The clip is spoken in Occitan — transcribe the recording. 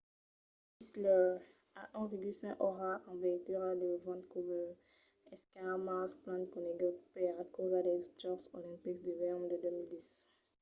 whistler a 1,5 ora en veitura de vancouver es car mas plan conegut per encausa dels jòcs olimpics d’ivèrn de 2010